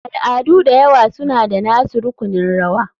Al'adu da yawa suna da nasu rukunin rawa.